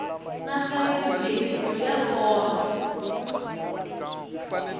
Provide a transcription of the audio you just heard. na sayizi leyikulu ya fonto